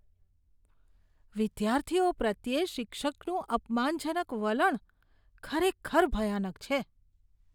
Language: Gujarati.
વિદ્યાર્થીઓ પ્રત્યે શિક્ષકનું અપમાનજનક વલણ ખરેખર ભયાનક છે.